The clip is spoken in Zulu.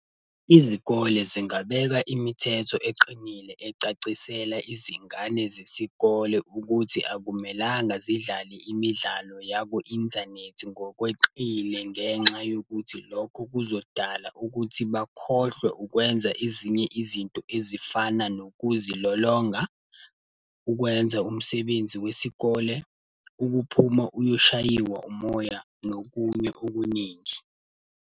Izikole zingabeka imithetho eqinile ecacisela izingane zesikole ukuthi akumelanga zidlale imidlalo yaku-inthanethi ngokweqile ngenxa yokuthi lokho kuzodala ukuthi bakhohlwe ukwenza ezinye izinto ezifana nokuzilolonga, ukwenza umsebenzi wesikole, ukuphuma uyoshayiwa umoya, nokunye okuningi.